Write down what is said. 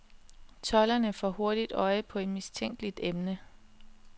Tolderne får hurtigt øje på et mistænkeligt emne.